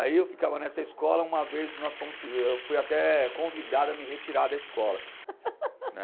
Aí eu ficava nessa escola, uma vez nós fomos eu fui até convidado a me retirar da escola, né?